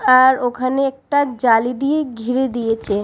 আর ওখানে একটা জালি দিয়ে ঘিরে দিয়েছে।